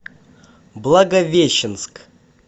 благовещенск